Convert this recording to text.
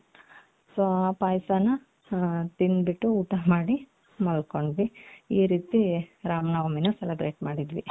so ಆ ಪಾಯಸನ ತಿoದು ಬಿಟ್ಟು ಊಟ ಮಾಡಿ ಮಲ್ಕೊಂಡ್ವಿ ಈ ರೀತಿ ರಾಮನವಮಿನ celebrate ಮಾಡಿದ್ವಿ ನೀವ್ ಹೇಗ್ ಮಾಡಿದ್ರಿ.